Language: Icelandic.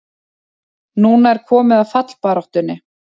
Núna er komið að fallbaráttunni!